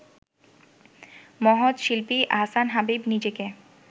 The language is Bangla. মহৎ শিল্পী আহসান হাবীব নিজেকে